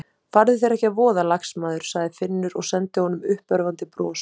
Farðu þér ekki að voða, lagsmaður sagði Finnur og sendi honum uppörvandi bros.